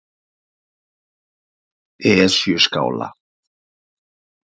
Esjuskála